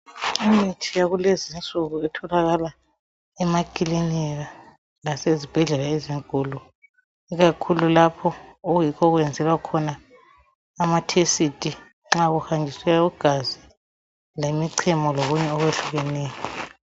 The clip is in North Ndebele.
Imithi yakulezinsuku etholakala emakilinika lasezibhedlela ezinkulu ikakhulu lapho okuyikho okwenzelwa khona amathesiti nxa kuhanjiswa igazi lemichemo lokunye okwehlukeneyo